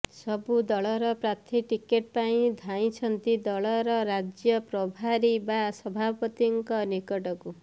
ସବୁ ଦଳର ପ୍ରାର୍ଥୀ ଟିକେଟ ପାଇଁ ଧାଇଁଛନ୍ତି ଦଳର ରାଜ୍ୟ ପ୍ରଭାରୀ ବା ସଭାପତିଙ୍କ ନିକଟକୁ